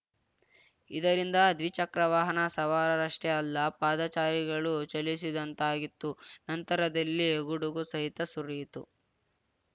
ಇದರಿಂದ ದ್ವಿಚಕ್ರ ವಾಹನ ಸವಾರರಷ್ಟೇ ಅಲ್ಲ ಪಾದಚಾರಿಗಳೂ ಚಲಿಸದಂತಾಗಿತ್ತು ನಂತರದಲ್ಲಿ ಗುಡುಗು ಸಹಿತ ಸುರಿಯಿತು